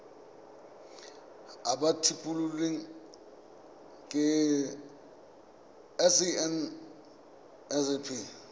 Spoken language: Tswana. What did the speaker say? ba ba tlhophilweng ke sacnasp